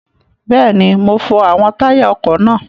Bẹ́ẹ̀ni, mo fọ àwọn táyà ọkọ̀ náà.